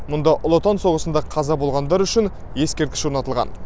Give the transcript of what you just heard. мұнда ұлы отан соғысында қаза болғандар үшін ескерткіш орнатылған